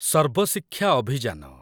ସର୍ବ ଶିକ୍ଷା ଅଭିଯାନ